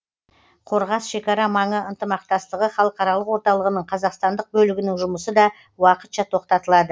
қорғас шекара маңы ынтымақтастығы халықаралық орталығының қазақстандық бөлігінің жұмысы да уақытша тоқтатылады